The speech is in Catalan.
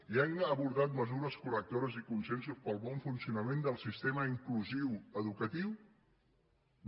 i han abordat mesures correctores i consensos per al bon funcionament del sistema inclusiu educatiu no